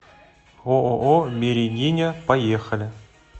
ооо берегиня поехали